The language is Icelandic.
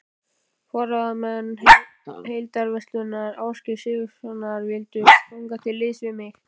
Forráðamenn Heildverslunar Ásgeirs Sigurðssonar vildu ganga til liðs við mig.